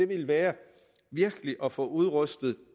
vil være virkelig at få udrustet